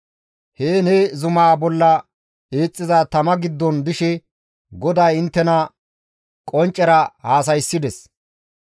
Heen he zumaa bolla eexxiza tama giddon dishe GODAY inttena qonccera haasayssides.